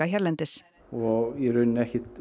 hérlendis og í rauninni ekkert